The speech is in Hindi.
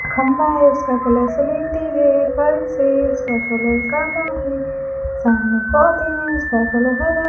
खंभा है उसका कलर सलेटी है फर्श है उसका कलर काला है सामने पौधे हैं उसका कलर हरा --